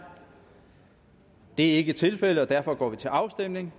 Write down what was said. det er ikke tilfældet og derfor går vi til afstemning